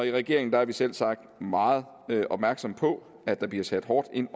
i regeringen er vi selvsagt meget opmærksomme på at der bliver sat hårdt ind